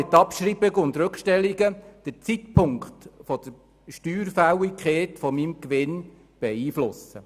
Mit Abschreibung und Rückstellungen kann ich den Zeitpunkt der Steuerfälligkeit meines Gewinns beeinflussen.